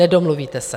Nedomluvíte se.